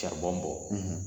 Saribɔn bɔ,